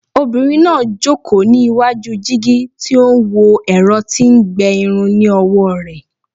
Obinrin naa joko ni iwaju jigi ti o n wo ẹrọ ti n gbẹ irun ni ọwọ rẹ